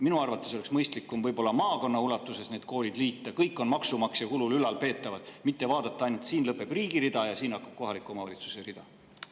Minu arvates oleks mõistlikum need koolid maakonna ulatuses liita – kõik on maksumaksja kulul ülalpeetavad –, mitte vaadata ainult seda, et siin lõpeb riigi rida ja siin hakkab kohaliku omavalitsuse rida.